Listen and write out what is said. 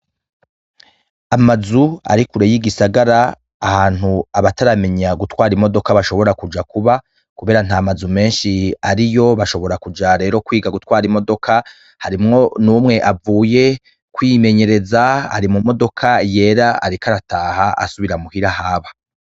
Amazu ari kure y'igisagara, ahantu abataramenya gutwara imodoka bashobora kuja kuba, kubera nta mazu menshi ariyo, bashobora rero kuja kwiga gutwara imodoka, harimwo n'umwe avuye kwimenyereza ari mu modoka yera ariko arataha asubira mu hira ahaba.